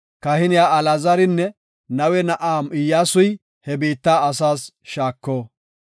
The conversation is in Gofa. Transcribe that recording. “Kahiniya Alaazaranne Nawe na7aa Iyyasuy he biitta asaas shaako.